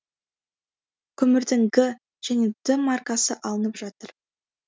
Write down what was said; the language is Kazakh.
көмірдің г және д маркасы алынып жатыр